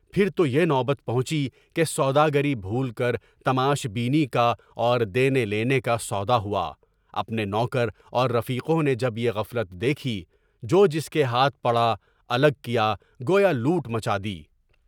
پھر تو یہ نوبت پہنچی کہ سوداگری بھول کر تماش بینی کا اور دینے لینے کا سودا ہوا اپنے نوکر اور رفیقوں نے جب بےغفلت دیکھی تو جو جس کے ہاتھ پڑا، الگ کیا، گو ہولوٹ مچا دی ۔